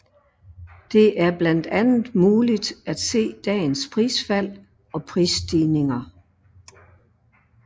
Det er blandt andet muligt at se dagens prisfald og prisstigninger